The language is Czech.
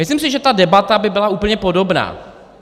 Myslím si, že ta debata by byla úplně podobná.